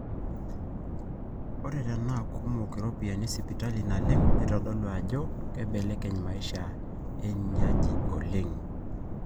ore tenaakumok iropiyiani esipitali naleng neitodolu ajo keibelekeny maisha einaaji oleng